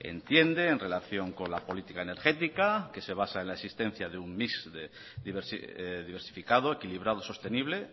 entiende en relación con la política energética que se basa en la existencia de un mix de diversificado equilibrado sostenible